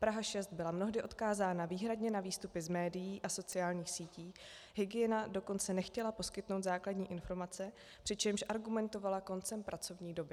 Praha 6 byla mnohdy odkázána výhradně na výstupy z médií a sociálních sítí, hygiena dokonce nechtěla poskytnout základní informace, přičemž argumentovala koncem pracovní doby.